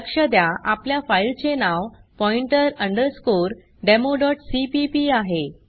लक्ष द्या आपल्या फाइल चे नाव पॉइंटर अंडरस्कोर demoसीपीपी आहे